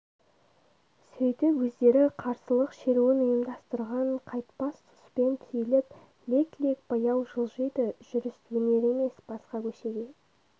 сөйтіп өздері қарсылық шеруін ұйымдастырған қайтпас сұспен түйіліп лек-лек баяу жылжиды жүріс өнер емес басқа көшеге